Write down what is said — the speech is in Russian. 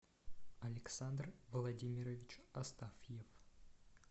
александр владимирович астафьев